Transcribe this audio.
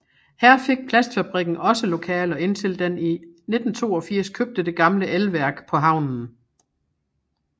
Her fik plastfabrikken også lokaler indtil den i 1982 købte det gamle elværk på havnen